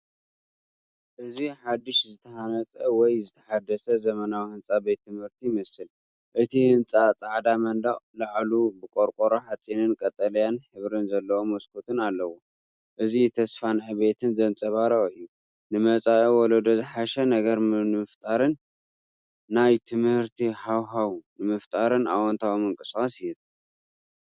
እዚ ሓድሽ ዝተሃንጸ ወይ ዝተሓደሰ ዘመናዊ ህንጻ ቤት ትምህርቲ ይመስል። እቲ ህንጻ ጻዕዳ መንደቕ፡ላዕሉ ብቆርቆሮ ሓጺንን ቀጠልያ ሕብሪ ዘለዎ መስኮትን ኣለዎ። እዚ ተስፋን ዕብየትን ዘንጸባርቕ እዩ። ንመጻኢ ወለዶ ዝሓሸ ነገር ንምፍጣር፡ ናይ ትምህርቲ ሃዋህው ንምፍጣር ኣወንታዊ ምንቅስቓስ ዝሀብ።